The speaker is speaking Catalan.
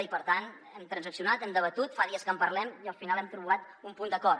i per tant hem transaccionat hem debatut fa dies que en parlem i al final hem trobat un punt d’acord